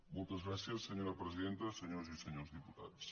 moltes gràcies senyora presidenta senyores i senyors diputats